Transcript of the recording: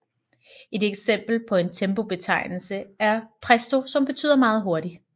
Et eksempel på en tempobetegnelse er Presto som betyder meget hurtigt